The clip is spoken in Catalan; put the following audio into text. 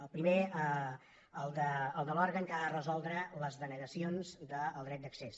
el primer el de l’òrgan que ha de resoldre les denegacions del dret d’accés